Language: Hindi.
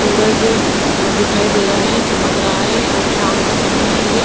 सूरज दिखाई दे रहा है चमक रहा है शाम का समय है ये--